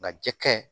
Nka jɛkɛ